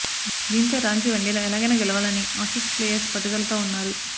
దీంతో రాంచీ వన్డేలో ఎలాగైనా గెలవాలని ఆసీస్ ప్లేయర్స్ పట్టుదలతో ఉన్నారు